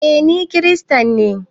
Eh, Ni kiristanne.